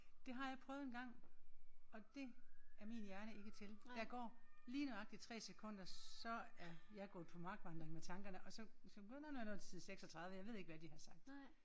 Det har jeg prøvet engang og det er min hjerne ikke til. Der går lige nøjagtigt 3 sekunder så er jeg gået på markvandring med tankerne og så begynder vi at nå til side 36 jeg ved ikke hvad de har sagt